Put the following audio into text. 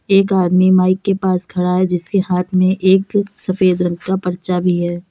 एक आदमी माइक के पास में खड़ा है जिसके हाथ में एक सफेद रंग का पर्चा भी है।